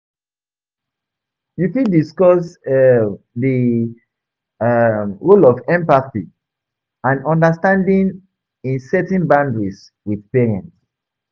You fit discuss um di um role of empathy and understanding in setting boundaries with parents.